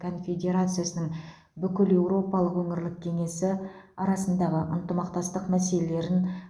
конфедерациясының бүкілеуропалық өңірлік кеңесі арасындағы ынтымақтастық мәселелерін